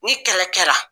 Ni kɛlɛ kɛra